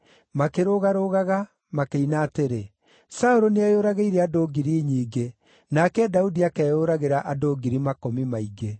Makĩrũgarũgaga, makĩina atĩrĩ: “Saũlũ nĩeyũragĩire andũ ngiri nyingĩ, nake Daudi akeyũragĩra andũ ngiri makũmi maingĩ.”